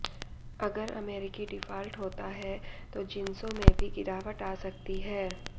अगर अमेरिकी डिफॉल्ट होता है तो जिंसों में भी गिरावट आ सकती है